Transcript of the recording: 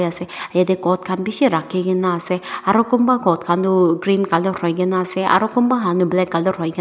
ase yeti coat khan bishi rakhigena ase aru kunba coat khan tu green colour hoigena ase aru kunba coat han tu kala colour hoigena.